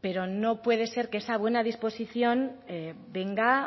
pero no puede ser que esa buena disposición venga